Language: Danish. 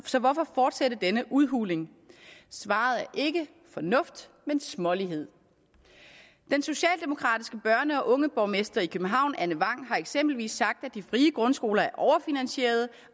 så hvorfor fortsætte denne udhuling svaret er ikke fornuft men smålighed den socialdemokratiske børne og ungeborgmester i københavn anne vang har eksempelvis sagt at de frie grundskoler er overfinansierede